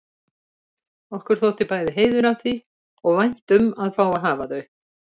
Okkur þótti bæði heiður af því og vænt um að fá að hafa þau.